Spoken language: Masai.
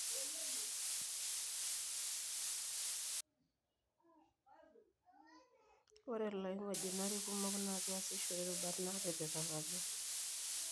ore iloingojinari kumok na kiasishore irubat natipikakaki.